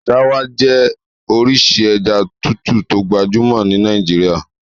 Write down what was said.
Ṣáwá jẹ́ orísìí ẹja tútù tó gbajúmọ̀ ní Nàìjíríà.